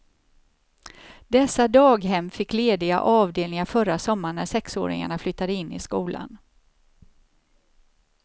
Dessa daghem fick lediga avdelningar förra sommaren när sexåringarna flyttade in i skolan.